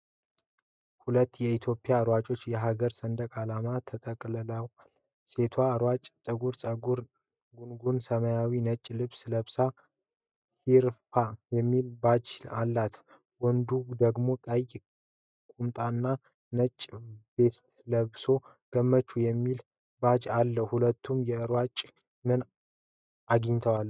ሁለት ኢትዮጵያውያን ሯጮች የሀገራቸውን ሰንደቅ ዓላማ ተጠቅልለዋል። ሴቷ ሯጭ ጥቁር ፀጉሯን ጎንጉና ሰማያዊና ነጭ ልብስ ለብሳ 'HIRPA' የሚል ባጅ አላት። ወንዱ ደግሞ ቀይ ቁምጣና ነጭ ቬስት ለብሶ 'ገመቹ' የሚል ባጅ አለው። ሁለቱም የሩጫ ምን አግኝተዋል?